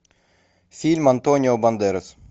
фильм антонио бандерас